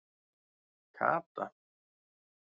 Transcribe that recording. Kata